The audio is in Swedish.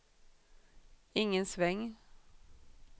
ingen sväng